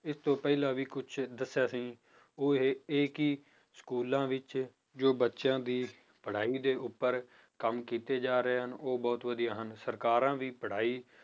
ਇਹ ਤੋਂ ਪਹਿਲਾਂ ਵੀ ਕੁੱਝ ਦੱਸਿਆ ਸੀ ਉਹ ਇਹ ਕਿ schools ਵਿੱਚ ਜੋ ਬੱਚਿਆਂ ਦੀ ਪੜ੍ਹਾਈ ਦੇ ਉੱਪਰ ਕੰਮ ਕੀਤੇ ਜਾ ਰਹੇ ਹਨ ਉਹ ਬਹੁਤ ਵਧੀਆ ਹਨ ਸਰਕਾਰਾਂ ਵੀ ਪੜ੍ਹਾਈ